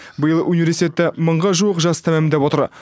биыл университетті мыңға жуық жас тәмамдап отыр